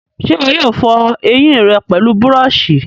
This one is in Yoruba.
ṣé ìwọ yóò fọ ẹyìn rẹ pẹlú búrọ̀sì?